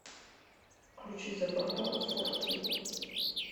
включи за бортом фор кей